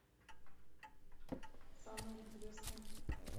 самое интересное